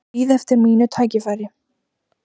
Bíð eftir mínu tækifæri